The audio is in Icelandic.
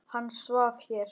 Hann svaf hér.